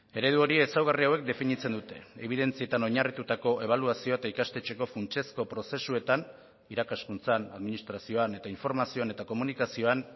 eredu hori ezaugarri hauek definitzen dute ebidentzietan oinarritutako ebaluazioa eta ikastetxeko funtsezko prozesuetan irakaskuntzan administrazioan eta informazioan eta komunikazioan